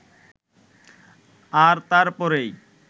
আর তারপরেই